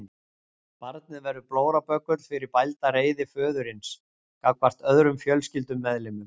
Barnið verður blóraböggull fyrir bælda reiði föðurins gagnvart öðrum fjölskyldumeðlimum.